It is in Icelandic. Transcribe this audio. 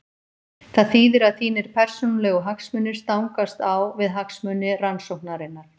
Það þýðir að þínir persónulegu hagsmunir stangast á við hagsmuni rannsóknarinnar.